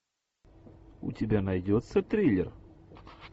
у тебя найдется триллер